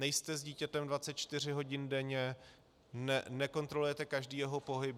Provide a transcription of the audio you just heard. Nejste s dítětem 24 hodin denně, nekontrolujete každý jeho pohyb.